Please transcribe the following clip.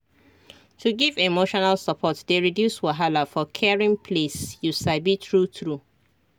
to give emotional support dey reduce wahala for caring place you sabi true true